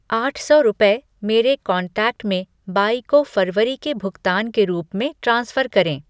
आठ सौ रुपये मेरे कॉन्टैक्ट में बाई को फरवरी के भुगतान के रूप में ट्रांसफ़र करें।